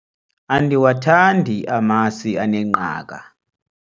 andiwathandi amasi anengqaka